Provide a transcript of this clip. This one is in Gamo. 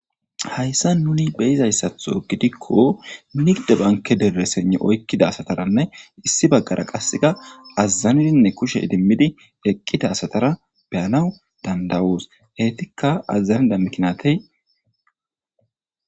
Hayssa nuni beyizayssatho gidikko nigde banke dere sene oykkida asataranne issi baggara qasseka azazanidinne kushe idimmidi eqqita asatara beyanaw dandawuus heytikka azazanida miknatey.